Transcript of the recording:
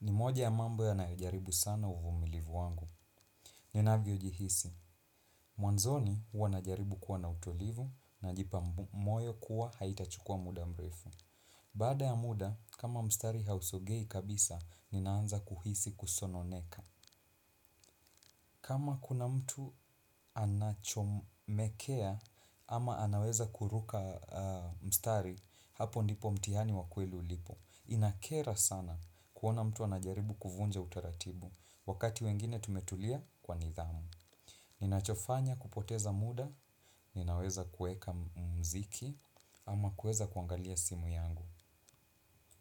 Ni moja ya mambo yanayojaribu sana uvumilivu wangu. Ni navyo jihisi. Mwanzoni huwa naijaribu kuwa na utulivu na jipa moyo kuwa haitachukua muda mrefu. Bada ya muda, kama mstari hausogei kabisa, ninaanza kuhisi kusononeka. Kama kuna mtu anachomekea ama anaweza kuruka mstari hapo ndipo mtihani wa kweli ulipo. Inakera sana kuona mtu anajaribu kuvunja utaratibu. Wakati wengine tumetulia kwa nidhamu nina chofanya kupoteza muda. Ninaweza kuweka mziki ama kuweza kuangalia simu yangu.